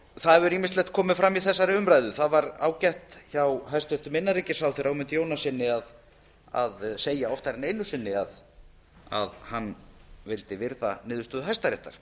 það hefur ýmislegt komið fram í þessari umræðu það var ágætt hjá hæstvirtum innanríkisráðherra ögmundi jónassyni að segja oftar en einu sinni að hann vildi virða niðurstöðu hæstaréttar